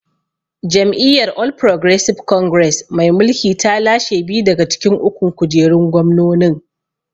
Jam’iyyar All Progresive Congress mai mulki ta lashe biyu daga cikin ukun kujerun gwamnonin.